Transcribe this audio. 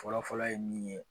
Fɔlɔfɔlɔ ye min ye